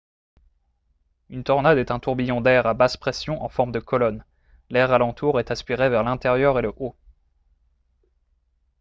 une tornade est un tourbillon d'air à basse-pression en forme de colonne l'air alentour est aspiré vers l'intérieur et le haut